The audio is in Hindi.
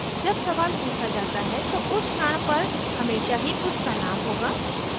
जब सवाल पुछा जाता है तो उस क्षण पर हमेशा ही कुछ तनाव होगा